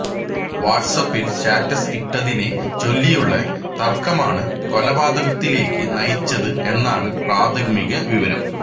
വാട്സ്ആപ്പില് status ഇട്ടതിനെ ചൊല്ലിയുള്ള തര്ക്കമാണ് കൊലപാതകത്തിലേക്ക് നയിച്ചത് എന്നാണ് പ്രാഥമിക വിവരം